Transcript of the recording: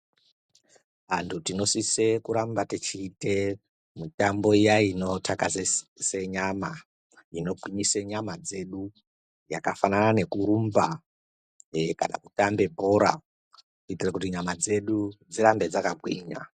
Antu tinosise kuramba tichiite mitambo iya inothakazesa nyama. Inogwinyisa nyama dzedu, yakafanana ngekurumba, kana kutamba bhora .Kuitira nyama dzedu dzirambe dzakagwinya.